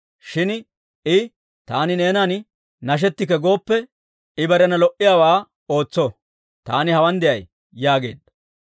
Shin I, Taani neenan nashetikke gooppe, ‹I barena lo"iyaawaa ootso;› taani hawaan de'ay» yaageedda.